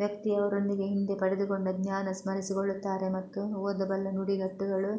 ವ್ಯಕ್ತಿ ಅವರೊಂದಿಗೆ ಹಿಂದೆ ಪಡೆದುಕೊಂಡ ಜ್ಞಾನ ಸ್ಮರಿಸಿಕೊಳ್ಳುತ್ತಾರೆ ಮತ್ತು ಓದಬಲ್ಲ ನುಡಿಗಟ್ಟುಗಳು